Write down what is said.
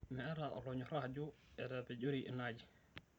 Meeta olonyorra ajo etapejori ina aji